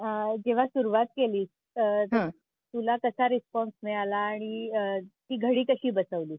आह जेव्हा सुरुवात केली हम्म तुला कसा रिस्पॉन्स मिळाला आणि आह ती घडी कशी बसवलीस तू?